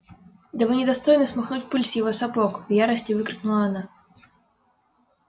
да вы не достойны смахнуть пыль с его сапог в ярости выкрикнула она